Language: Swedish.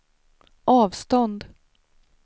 avstånd